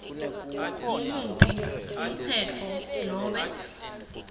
ngumuphi umtsetfo nobe